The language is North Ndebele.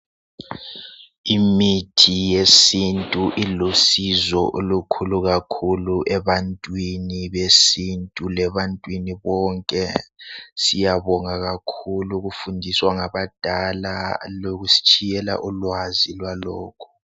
Imithi yesintu ilusizo olukhulu kakhulu ebantwini besintu lebantwini bonke. Siyabonga kakhulu ukufundiswa ngabadala lokusitshiyela ulwazi lwalokhu